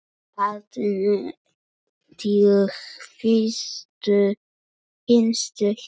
Haltu nú til hinstu hvílu.